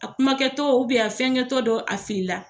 A kuma kɛtɔ a fɛn kɛtɔ dɔ a fili la.